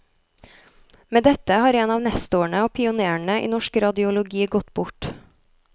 Med dette har en av nestorene og pionérene i norsk radiologi gått bort.